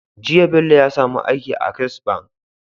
Jiya Bello ya samu aiki a access bank